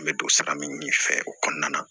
N bɛ don sira min fɛ o kɔnɔna na